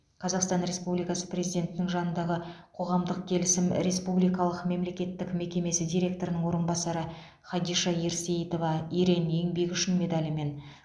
қазақстан республикасы президентінің жанындағы қоғамдық келісім республикалық мемлекеттік мекемесі директорының орынбасары хадиша ерсейітова ерен еңбегі үшін медалімен